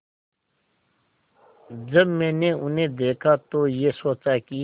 जब मैंने उन्हें देखा तो ये सोचा कि